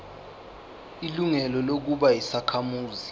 ilungelo lokuba yisakhamuzi